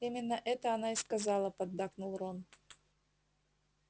именно это она и сказала поддакнул рон